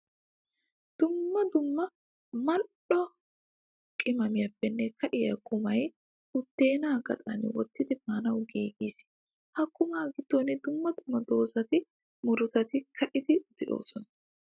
Dumma dumma mal'o qimaamiyappe ka'iya qumay buddena gaxan wottidi maanawu giiggis. Ha qumma gidon dumma dumma dooza murutatti kaa'iddi de'osona.